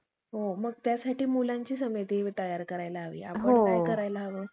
मतलबी, अनाचारी इत्यादी दुर्गुणांनी भरलेल्या. अशा ब्राम्हणांनी केलेल्या एकंदर सर्व चेटाकांनी भरलेल्या ग्रंथाच्या मुखावर